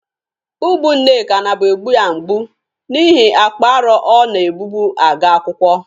Ubu Nneka naburu egbụ ya mgbụ n'ihe akpa arọ ọ na-egbụbụ aga akwụkwọ.